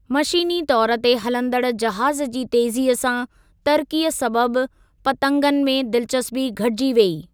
मशीनी तौरु ते हलंदड़ जहाज़ जी तेज़ीअ सां तरक़ीअ सबबि पतंगनि में दिलचस्पी घटिजी वेई।